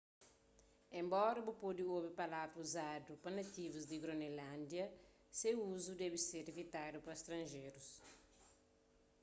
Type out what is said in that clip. enbora bu pode obi palavra uzadu pa nativus di gronelândia se uzu debe ser ivitadu pa stranjerus